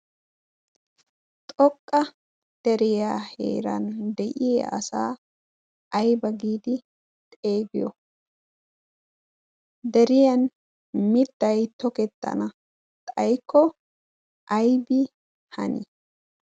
xoqqa deriyaaheeran de'iya asaa aiba giidi xeegiyo deriyan mittay tokettana xaykko aybi hani?